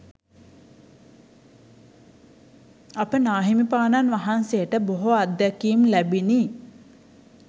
අප නාහිමිපාණන් වහන්සේට බොහෝ අත්දැකීම් ලැබිණි.